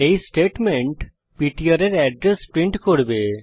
এই statement PTR এর address print করবে